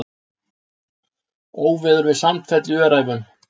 Óveður við Sandfell í Öræfum